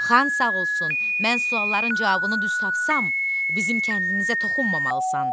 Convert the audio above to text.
Xan sağ olsun, mən sualların cavabını düz tapsam, bizim kəndimizə toxunmamalısan.